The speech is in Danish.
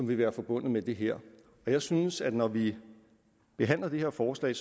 vil være forbundet med det her jeg synes at når vi behandler det her forslag